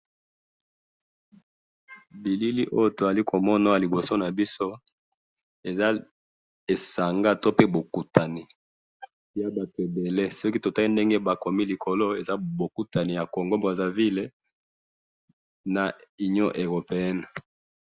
Bilili oyo tozomona awa liboso nabiso, eza bokutani yabatu ebele, soki totali ndenge bakomi likolo, eza bokutani ya congo Brazzaville na union Europeen